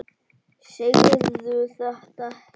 Segðu þetta ekki.